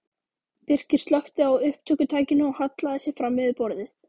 Birkir slökkti á upptökutækinu og hallaði sér fram yfir borðið.